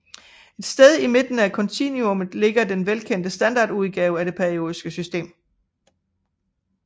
Et sted i midten af kontinuumet ligger den velkendte standardudgave af det periodiske system